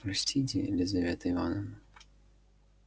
простите лизавета ивановна